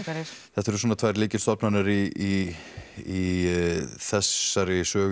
þetta eru svona tvær lykilstofnanir í þessari sögu